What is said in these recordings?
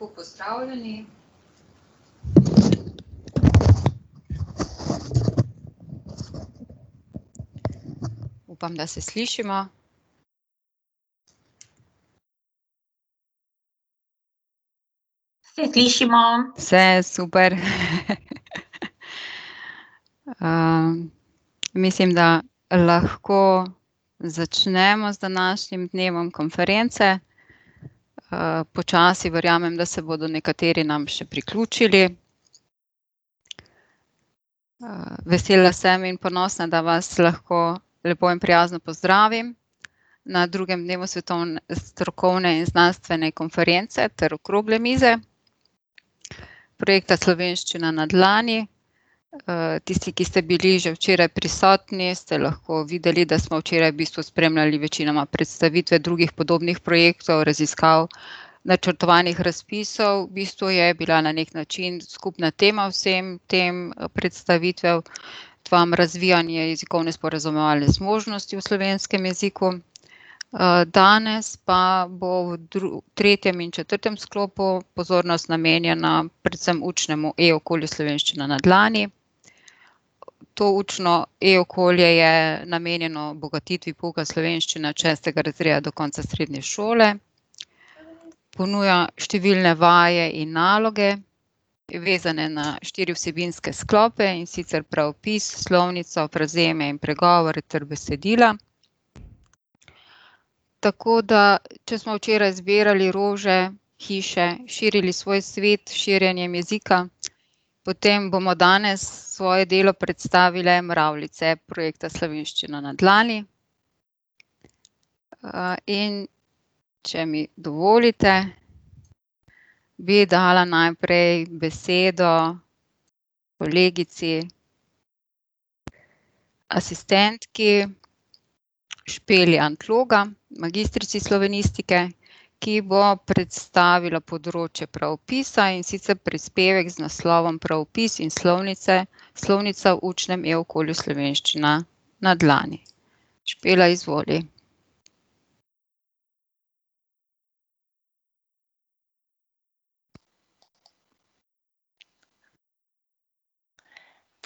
Lepo pozdravljeni. Upam, da se slišimo. Se slišimo. Se, super. mislim, da lahko začnemo z današnjim dnevom konference, počasi, verjamem, da se bodo nekateri nam še priključili. vesela sem in ponosna, da vas lahko lepo in prijazno pozdravim na drugem dnevu strokovne in znanstvene konference ter okrogle mize, projekta Slovenščina na dlani. tisti, ki ste bili že včeraj prisotni, ste lahko videli, da smo včeraj v bistvu spremljali večinoma predstavitve drugih podobnih projektov, raziskav, načrtovanih razpisov, v bistvu je bila na neki način skupna tema vsem tem predstavitvam razvijanje jezikovne sporazumevalne zmožnosti v slovenskem jeziku. danes pa bo v v tretjem in četrtem sklopu pozornost namenjena predvsem učnemu e-okolju Slovenščina na dlani. To učno e-okolje je namenjeno bogatitvi pouka slovenščine od šestega razreda do konca srednje šole. Ponuja številne vaje in naloge, vezane na štiri vsebinske sklope, in sicer pravopis, slovnica, frazemi in pregovori ter besedila. Tako da če smo včeraj zbirali rože, hiše, širili svoj svet s širjenjem jezika, potem bomo danes svoje delo predstavile mravljice projekta Slovenščina na dlani. in če mi dovolite, bi dala najprej besedo kolegici asistentki Špeli Antloga, magistrici slovenistike, ki bo predstavila področje pravopisa, in sicer prispevek z naslovom Pravopis in slovnice, slovnica v učnem e-okolju Slovenščina na dlani. Špela, izvoli.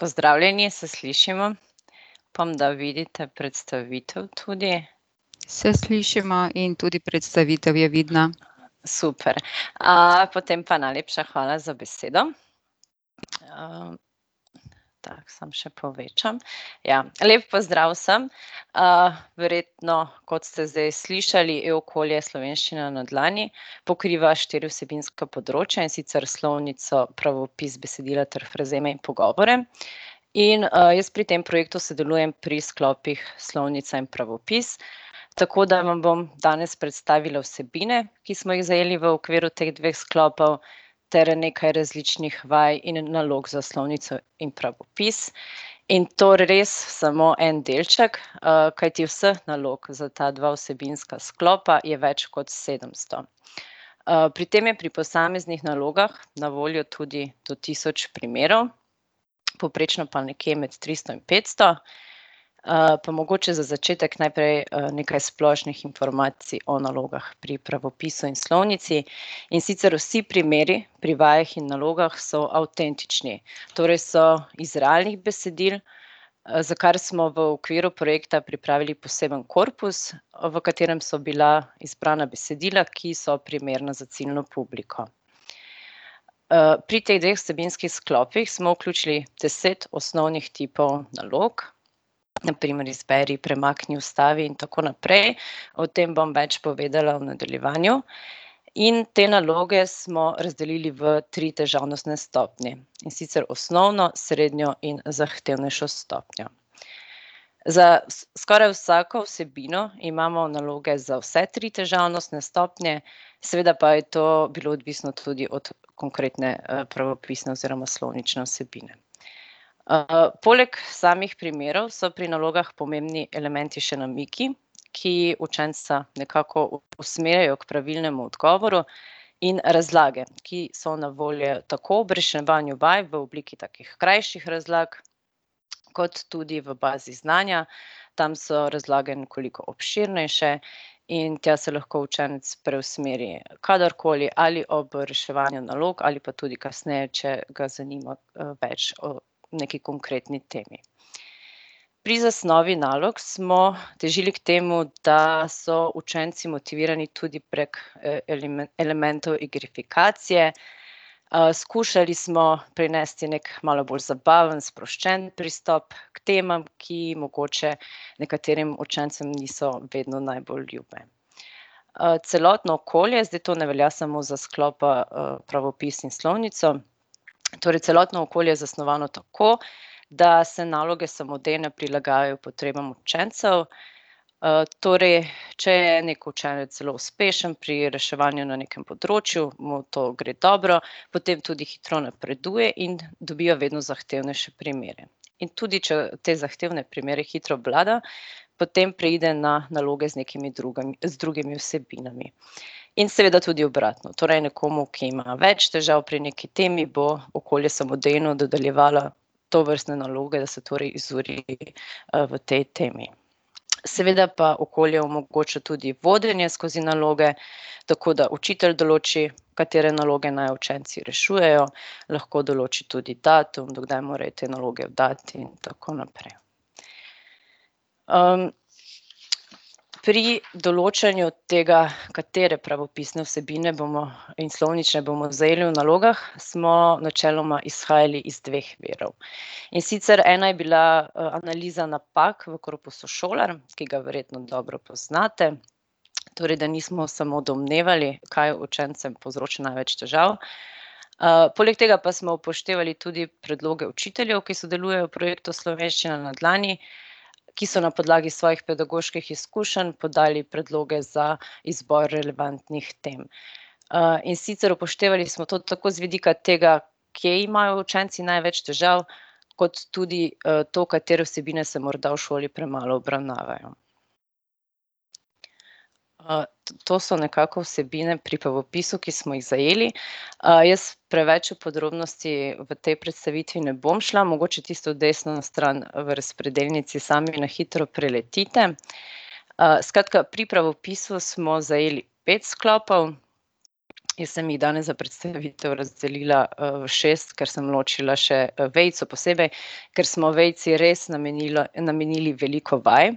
Pozdravljeni, se slišimo? Upam, da vidite predstavitev tudi. Se slišimo in tudi predstavitev je vidna. Super, potem pa najlepša hvala za besedo. ... Tako, samo še povečam. Ja, lep pozdrav vsem, verjetno, kot ste zdaj slišali, e-okolje Slovenščina na dlani pokriva štiri vsebinska področja, in sicer slovnico, pravopis, besedila ter frazeme in pogovore. In, jaz pri tem projektu sodelujem pri sklopih slovnica in pravopis, tako da vam bom danes predstavila vsebine, ki smo jih zajeli v okviru teh dveh sklopov ter nekaj različnih vaj in nalog za slovnico in pravopis. In to res samo en delček, kajti vseh nalog za ta dva vsebinska sklopa je več kot sedemsto. pri tem je pri posameznih nalogah na voljo tudi do tisoč primerov, povprečno pa nekje med tristo in petsto. pa mogoče za začetek najprej, nekaj splošnih informacij o nalogah pri pravopisu in slovnici. In sicer vsi primeri pri vajah in nalogah so avtentični, torej so iz realnih besedil, za kar smo v okviru projekta pripravili poseben korpus, v katerem so bila izbrana besedila, ki so primerna za ciljno publiko. pri teh dveh vsebinskih sklopih smo vključili deset osnovnih tipov nalog. Na primer izberi, premakni, vstavi in tako naprej. O tem bom več povedala v nadaljevanju. In te naloge smo razdelili v tri težavnostne stopnje, in sicer osnovno, srednjo in zahtevnejšo stopnjo. Za skoraj vsako vsebino imamo naloge za vse tri težavnostne stopnje, seveda pa je to bilo odvisno tudi od konkretne, pravopisne oziroma slovnične vsebine. poleg samih primerov so pri nalogah pomembni elementi še namigi, ki učenca nekako usmerjajo k pravilnemu odgovoru, in razlage, ki so na voljo tako ob reševanju vaj, v obliki takih krajših razlag kot tudi v bazi znanja. Tam so razlage nekoliko obširnejše in tja se lahko učenec preusmeri kadarkoli, ali ob reševanju nalog ali pa tudi kasneje, če ga zanima, več o nekaj konkretni temi. Pri zasnovi nalog smo težili k temu, da so učenci motivirani tudi prek, elementov igrifikacije, skušali smo prinesti neki malo bolj zabaven, sproščen pristop k temam, ki mogoče nekaterim učencem niso vedno najbolj ljube. celotno okolje, zdaj to ne velja samo za sklopa, pravopis in slovnico, torej celotno okolje je zasnovano tako, da se naloge samodejno prilagajajo potrebam učencev. torej, če je neki učenec zelo uspešen pri reševanju na nekem področju, mu to gre dobro, potem tudi hitro napreduje in dobiva vedno zahtevnejše primere. In tudi če te zahtevne primere hitro obvlada, potem preide na naloge z nekimi drugami, z drugimi vsebinami. In seveda tudi obratno, torej nekomu, ki ima več težav pri neki temi, bo okolje samodejno dodeljevalo tovrstne naloge, se torej izuri, v tej temi. Seveda pa okolje omogoča tudi vodenje skozi naloge, tako da učitelj določi, katere naloge naj učenci rešujejo, lahko določi tudi datum, do kdaj morajo te naloge oddati, in tako naprej. pri določanju tega, katere pravopisne vsebine bomo, in slovnične, bomo zajeli v nalogah, smo načeloma izhajali iz dveh virov. In sicer ena je bila, analiza napak v korpusu Šolar, ki ga verjetno dobro poznate. Torej da nismo samo domnevali, kaj učencem povzroča največ težav. poleg tega pa smo upoštevali tudi predloge učiteljev, ki sodelujejo v projektu Slovenščina na dlani, ki so na podlagi svojih pedagoških izkušenj podali predloge za izbor relevantnih tem. in sicer upoštevali smo to tako z vidika tega, kje imajo učenci največ težav, kot tudi, to, katere vsebine se morda v šoli premalo obravnavajo. to so nekako vsebine pri pravopisu, ki smo jih zajeli, jaz preveč v podrobnosti v tej predstavitvi ne bom šla, mogoče tisto desno stran v razpredelnici sami na hitro preletite. skratka, pri pravopisu smo zajeli pet sklopov, ki sem jih danes za predstavitev razdelila, v šest, ker sem ločila še, vejico posebej, ker smo vejici res namenilo, namenili veliko vaj.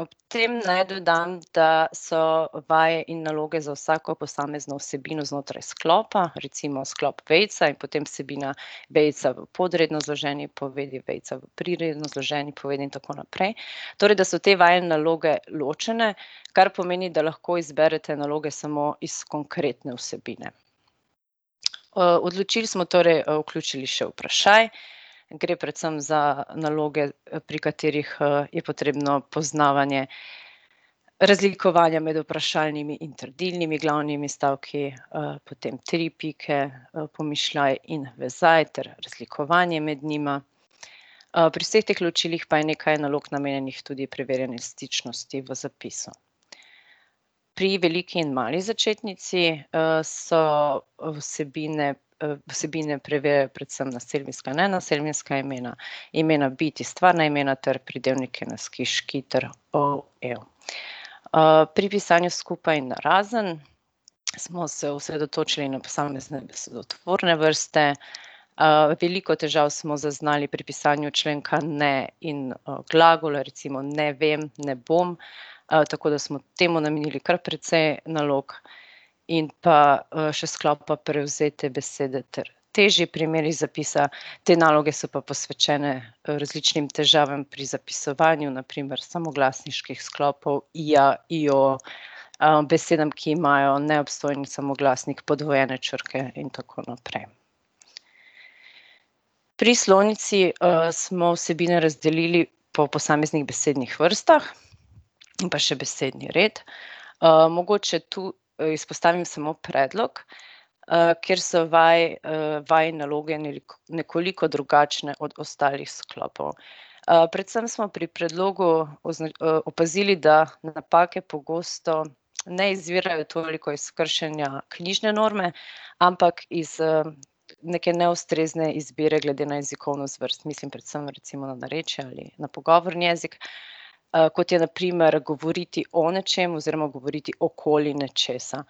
ob tem naj dodam, da so vaje in naloge za vsako posamezno vsebino znotraj sklopa, recimo sklop Vejica, in potem vsebina vejica v podredno zloženi povedi, vejica v priredno zloženi povedi in tako naprej. Torej da so te vaje in naloge ločene, kar pomeni, da lahko izberete naloge samo iz konkretne vsebine. od ločil smo torej, vključili še vprašaj, gre predvsem za naloge, pri katerih, je potrebno poznavanje razlikovanja med vprašalnimi in trdilnimi glavnimi stavki, potem tri pike, pomišljaj in vezaj ter razlikovanje med njima. pri vseh teh ločilih pa je nekaj nalog namenjenih tudi preverjanju stičnosti v zapisu. Pri veliki in mali začetnici, so vsebine, vsebine predvsem naselbinska, nenaselbinska imena, imena bitij, stvarna imena ter pridevniki na -ski, -ški ter -ov, -ev. pri pisanju skupaj in narazen smo se osredotočili na posamezne besedotvorne vrste, veliko težav smo zaznali pri pisanju členka ne in, glagolov, recimo ne vem, ne bom, tako da smo temu namenili kar precej nalog. In pa, še sklop pa prevzete besede ter težji primeri zapisa, te naloge so pa posvečene, različnim težavam pri zapisovanju, na primer samoglasniških sklopov ija, ijo, besedam, ki imajo neobstojni samoglasnik, podvojene črke in tako naprej. Pri slovnici, smo vsebine razdelili po posameznih besednih vrstah in pa še besedni red. mogoče tu izpostavim samo predlog, kjer so vaje in naloge nekoliko drugačne od ostalih sklopov. predvsem smo pri predlogu opazili, da napake pogosto ne izvirajo toliko iz kršenja knjižne norme, ampak iz, neke neustrezne izbire glede na jezikovno zvrst, mislim predvsem recimo narečja ali na pogovorni jezik, kot je na primer govoriti o nečem oziroma govoriti okoli nečesa.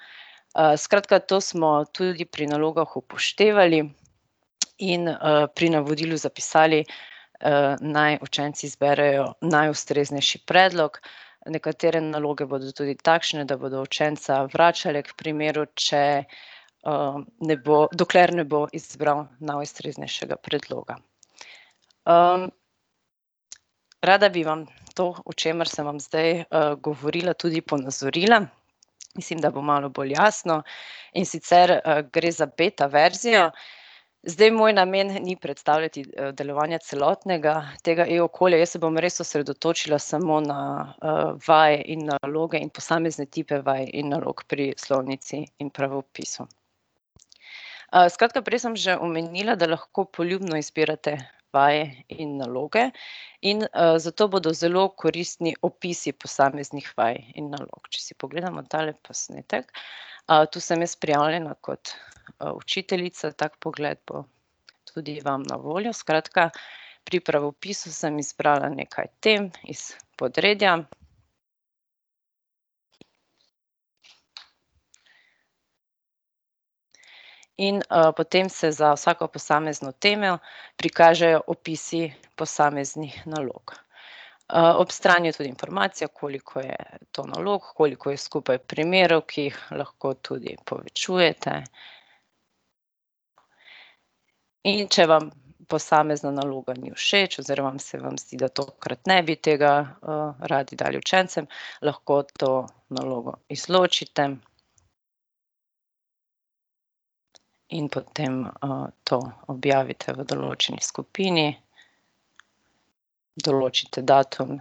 skratka to smo tudi pri nalogah upoštevali in, pri navodilu zapisali, naj učenci zberejo najustreznejši predlog. Nekatere naloge bodo tudi takšne, da bodo učenca vračale k primeru, če, ne bo, dokler ne bo izbral najustreznejšega predloga. rada bi vam to, o čemer sem vam zdaj, govorila, tudi ponazorila, mislim, da bo malo bolj jasno. In sicer, gre za beta verzijo, zdaj, moj namen, ni predstavljati, delovanja celotnega tega e-okolja, jaz se bom res osredotočila samo na, vaje in naloge in posamezne tipe vaj in nalog pri slovnici in pravopisu. skratka, prej sem že omenila, da lahko poljubno izbirate vaje in naloge in, zato bodo zelo koristni opisi posameznih vaj in nalog. Če si pogledamo tale posnetek, to sem jaz prijavljena kot, učiteljica, tak pogled bo tudi vam na voljo, skratka, pri pravopisu sem izbrala nekaj tem iz podredja. In, potem se za vsako posamezno temo prikažejo opisi posameznih nalog. ob strani je tudi informacija, koliko je to nalog, koliko je skupaj primerov, ki jih lahko tudi povečujete. In če vam posamezna naloga ni všeč oziroma se vam zdi, da tokrat ne bi tega, radi dajali učencem, lahko to nalogo izločite. In potem, to objavite v določeni skupini, določite datum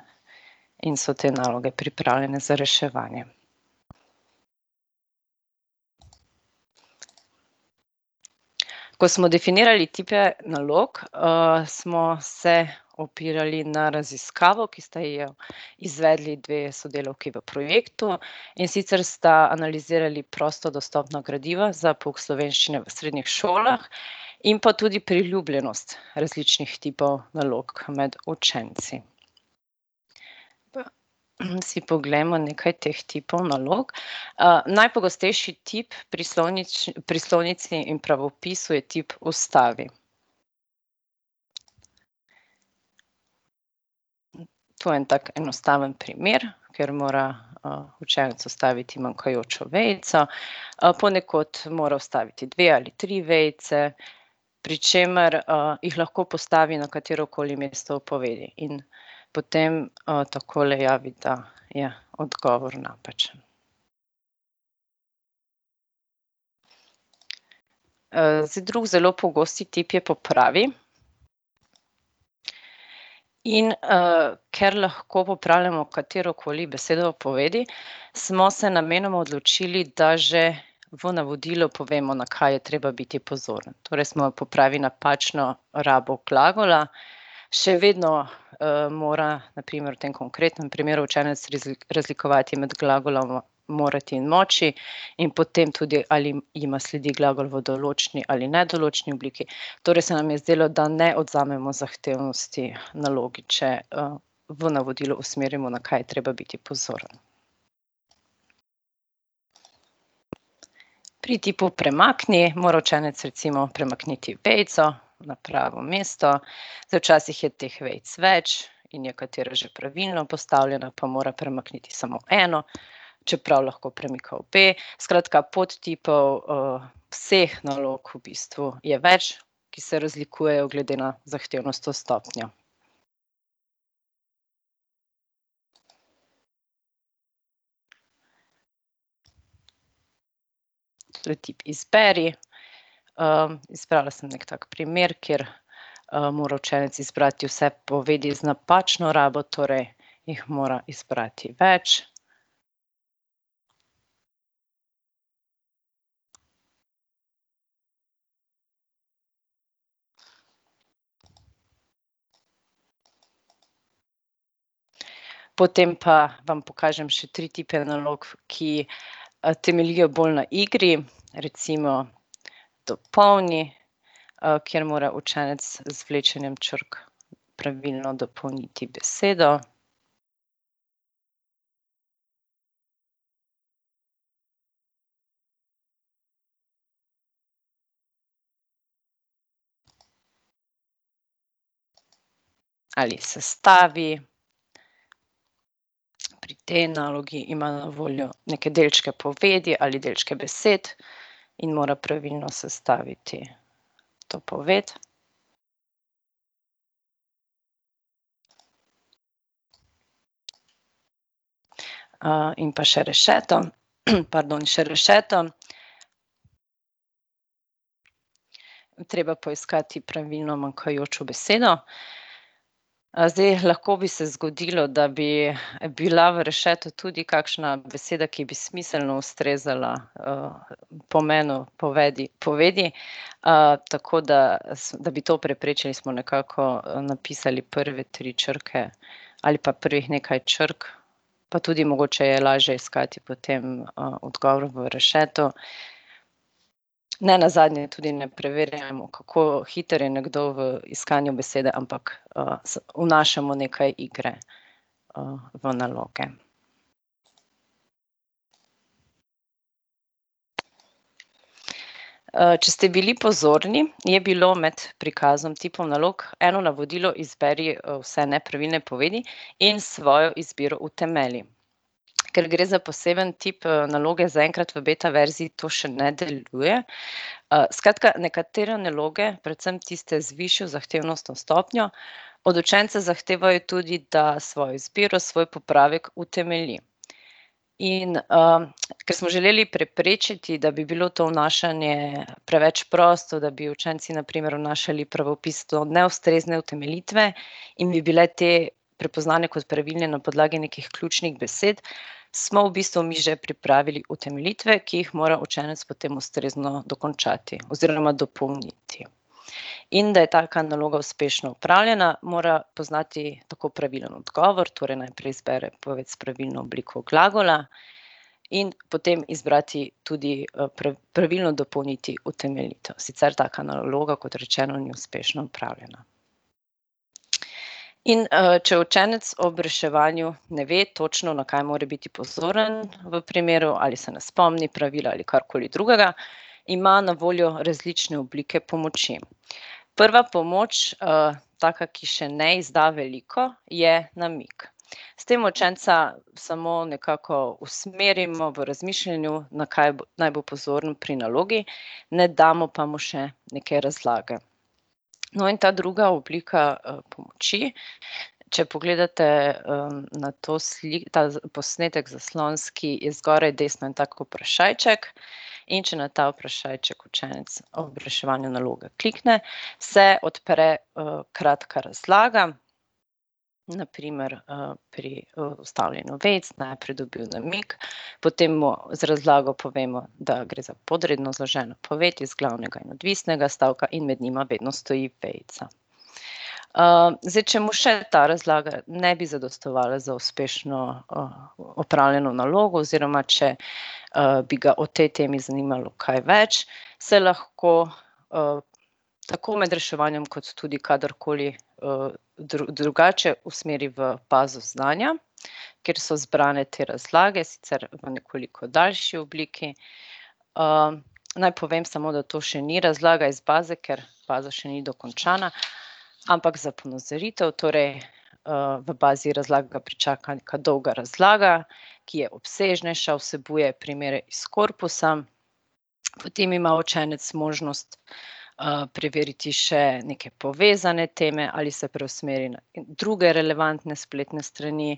in so te naloge pripravljene za reševanje. Ko smo definirali tipe nalog, smo se opirali na raziskavo, ki sta jo izvedli dve sodelavki v projektu, in sicer sta analizirali prosto dostopna gradiva za pouk slovenščine v srednjih šolah in pa tudi priljubljenost različnih tipov nalog med učenci. si poglejmo nekaj teh tipov nalog. najpogostejši tip pri pri slovnici in pravopisu je tip vstavi. To je en tak enostaven primer, ker mora, učenec vstaviti manjkajočo vejico. ponekod mora vstaviti dve ali tri vejice, pri čemer, jih lahko postavi na katerokoli mesto v povedi in potem, takole javi, da je odgovor napačen. zdaj, drug zelo pogost tip je popravi. In, ker lahko popravljamo katerokoli besedo v povedi , smo se namenoma odločili, da že v navodilu povemo, na kaj je treba biti pozoren, torej smo, popravi napačno rabo glagola še vedno, mora, na primer v tem konkretnem primeru, učenec razlikovati med glagolom "morati" in "moči" in potem tudi, ali jima sledi glagol v določni ali nedoločni obliki, torej se nam je zdelo, da ne odvzamemo zahtevnosti nalogi, če, v navodilu usmerimo, na kaj je treba biti pozoren. Pri tipu premakni mora učenec recimo premakniti vejico na pravo mesto. Zdaj, včasih je teh vejic več in je katera že pravilno postavljena, pa mora premakniti samo eno, čeprav lahko premika obe, skratka, podtipov, vseh nalog v bistvu, je več, ki se razlikujejo glede na zahtevnostno stopnjo. To je tip izberi, izbrala sem neki tak primer, kjer, mora učenec izbrati vse povedi z napačno rabo, torej jih mora izbrati več. Potem pa vam pokažem še tri tipe nalog, ki, temeljijo bolj na igri. Recimo dopolni, kjer mora učenec z vlečenjem črk pravilno dopolniti besedo, ali sestavi. Pri tej nalogi imajo na voljo neke delčke povedi ali delčke besed in mora pravilno sestaviti to poved. in pa še rešeto, pardon, še rešeto. Treba poiskati pravilno manjkajočo besedo. zdaj, lahko bi se zgodilo, da bi, bila v rešetu tudi kakšna beseda, ki bi smiselno ustrezala, pomenu povedi, povedi. tako da da bi to preprečili, smo nekako, napisali prve tri črke ali pa prej nekaj črk. Pa tudi mogoče je lažje iskati potem, odgovor v rešetu. Nenazadnje tudi ne preverjamo, kako hiter je nekdo v iskanju besede, ampak, vnašamo nekaj igre, v naloge. če ste bili pozorni, je bilo med prikazom tipov nalog eno navodilo izberi vse nepravilne povedi in svojo izbiro utemelji. Ker gre za posebno tip, naloge, zaenkrat v beta verziji to še ne deluje, skratka nekatere naloge, predvsem tiste z višjo zahtevnostno stopnjo, od učenca zahtevajo tudi, da svojo izbiro, svoj popravek utemelji. In, ker smo želeli preprečiti, da bi bilo to vnašanje preveč prosto, da bi učenci na primer vnašali pravopis do neustrezne utemeljitve, in bi bile te prepoznane kot pravilne na podlagi nekih ključnih besed, smo v bistvu mi že pripravili utemeljitve, ki jih mora učenec potem ustrezno dokončati oziroma dopolniti. In da je taka naloga uspešno opravljena, mora poznati tako pravilen odgovor, torej najprej izbere poved s pravilno obliko glagola, in potem izbrati tudi, pravilno dopolniti utemeljitev, sicer taka naloga, kot rečeno, ni uspešno opravljena. In, če učenec ob reševanju ne ve točno, na kaj mora biti pozoren v primeru ali se ne spomni pravila ali karkoli drugega, ima na voljo različne oblike pomoči. Prva pomoč, taka, ki še ne izda veliko, je namig. S tem učenca samo nekako usmerimo v razmišljanju, na kaj naj bo pozoren pri nalogi, ne damo pa mu še neke razlage. No, in ta druga oblika, pomoči, če pogledate, na to ta posnetek zaslonski, je zgoraj desno en tak vprašajček. In če na ta vprašajček učenec ob reševanju naloge klikne, se odpre, kratka razlaga. Na primer, pri vstavljanju vejic najprej dobi namig, potem mu z razlago povemo, da gre za podredno zloženo poved iz glavnega in odvisnega stavka in med njima vedno stoji vejica. zdaj, če mu še ta razlaga ne bi zadostovala za uspešno, opravljeno nalogo oziroma če, bi ga o tej temi zanimalo kaj več, se lahko, tako med reševanjem kot tudi kadarkoli, drugače usmeri v bazo znanja, kjer so zbrane te razlage, sicer v nekoliko daljši obliki. naj povem samo, da to še ni razlaga iz baze, ker baza še ni dokončana. Ampak za ponazoritev, torej, v bazi razlag ga pričaka neka dolga razlaga, ki je obsežnejša, vsebuje primere iz korpusa. Potem ima učenec možnost, preveriti še neke povezane teme ali se preusmeri na druge relevantne spletne strani,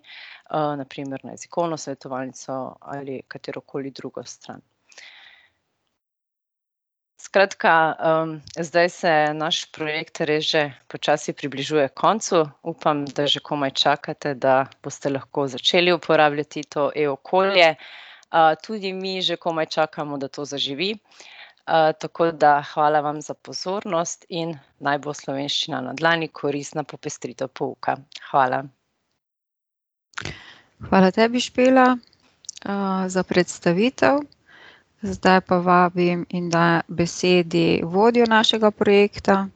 na primer na Jezikovno svetovalnico ali katerokoli drugo stran. Skratka, zdaj se naš projekt res že počasi približuje koncu, upam, da že komaj čakate, da boste lahko začeli uporabljati to e-okolje. tudi mi že komaj čakamo, da to zaživi. tako da hvala vam za pozornost in naj bo Slovenščina na dlani koristna popestritev pouka. Hvala. Hvala tebi, Špela, za predstavitev. Zdaj pa vabim in dajem besedo vodjo našega projekta,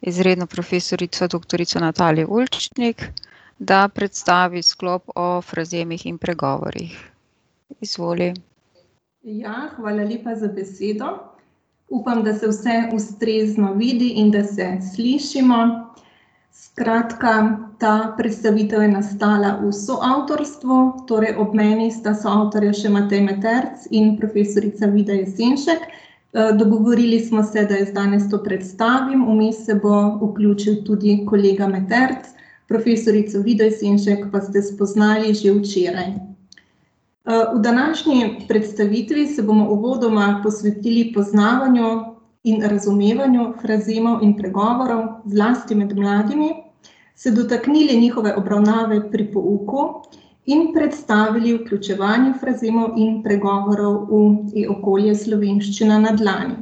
izredno profesorico doktorico Natalijo Ulčnik, da predstavi sklop o frazemih in pregovorih. Izvoli. Ja, hvala lepa za besedo. Upam, da se vse ustrezno vidi in da se slišimo. Skratka, ta predstavitev je nastala v soavtorstvu, torej ob meni sta soavtorja še Matej Meterc in profesorica Vida Jesenšek. dogovorili smo se, da jaz danes to predstavim, vmes se bo vključil tudi kolega Meterc. Profesorico Vido Jesenšek pa ste spoznali že včeraj. v današnji predstavitvi se bomo uvodoma posvetili poznavanju in razumevanju frazemov in pregovorov, zlasti med mladimi, se dotaknili njihove obravnave pri pouku in predstavili vključevanje frazemov in pregovorov v e-okolje Slovenščina na dlani.